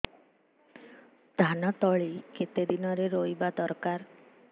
ଧାନ ତଳି କେତେ ଦିନରେ ରୋଈବା ଦରକାର